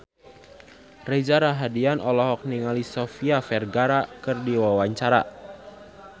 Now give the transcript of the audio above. Reza Rahardian olohok ningali Sofia Vergara keur diwawancara